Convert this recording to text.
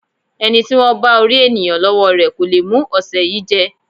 Ẹní tí wọ́n bá orí ènìyàn lọ́wọ́ rẹ kò le mú ọ̀sẹ̀ yìí jẹ́.